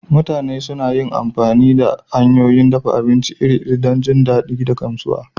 Mutane suna amfani da hanyoyin dafa abinci iri-iri don jin daɗi da gamsuwa